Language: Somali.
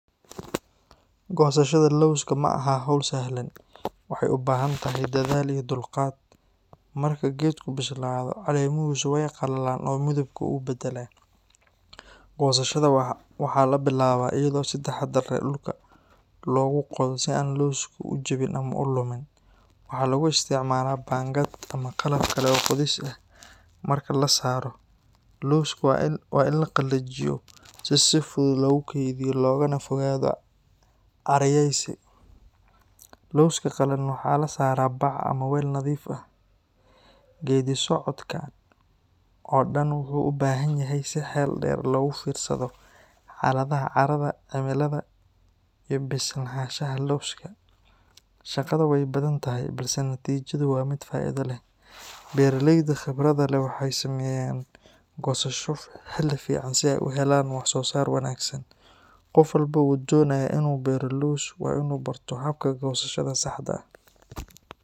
Goosashada lowska ma aha hawl sahlan, waxay u baahan tahay dadaal iyo dulqaad. Marka geedku bislaado, caleemihiisu way qallalaan oo midabkoodu wuu beddelaa. Goosashada waxaa la bilaabaa iyadoo si taxaddar leh dhulka loogu qodo si aan lowsku u jabin ama u lumin. Waxaa lagu isticmaalaa baangad ama qalab kale oo qodis ah. Marka la soo saaro, lowska waa in la qalajiyo si si fudud loogu keydiyo loogana fogaado caariyaysi. Lowska qalalan waxaa la saaraa bac ama weel nadiif ah. Geeddi-socodkan oo dhan wuxuu u baahan yahay in si xeel dheer loogu fiirsado xaaladda carrada, cimilada, iyo bislaanshaha lowska. Shaqada way badan tahay, balse natiijadu waa mid faa’iido leh. Beeraleyda khibradda leh waxay sameeyaan goosasho xilli fiican si ay u helaan wax-soo-saar wanaagsan. Qof walba oo doonaya inuu beero lows waa inuu barto habka goosashada saxda ah